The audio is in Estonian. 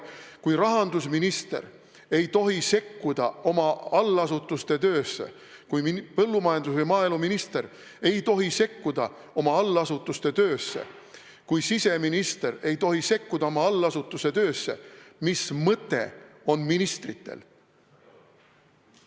Kui rahandusminister ei tohi sekkuda oma allasutuste töösse, kui maaeluminister ei tohi sekkuda oma allasutuste töösse, kui siseminister ei tohi sekkuda oma allasutuste töösse, siis mis mõtet on ministritel?